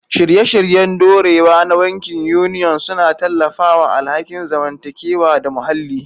Shirye-shiryen dorewa na bankin Union suna tallafawa alhakin zamantakewa da muhalli.